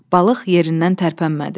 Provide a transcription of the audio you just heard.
Balıq yerindən tərpənmədi.